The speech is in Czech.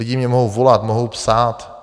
Lidé mi mohou volat, mohou psát.